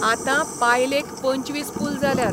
आतां पायलेक पंचवीस पूल जाल्यात.